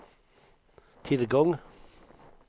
tillgång